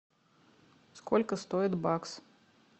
сколько стоит бакс